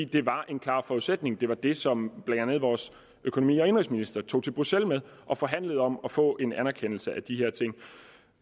det var en klar forudsætning det var det som blandt andet vores økonomi og indenrigsminister tog til bruxelles med og forhandlede om at få en anerkendelse